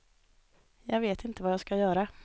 Jag vet inte vad jag ska göra.